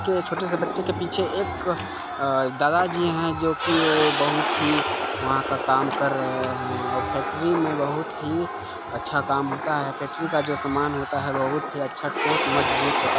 के छोटे से बच्चे के पीछे एक अअअ दादा जी है जो की वो बहुत ही वहाँ का काम कर रहे है और फैक्ट्री में बहुत ही अच्छा काम होता है फैक्ट्री का जो समान होता है बहुत ही अच्छा ठोस मजबूत होता--